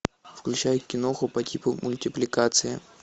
включай киноху по типу мультипликации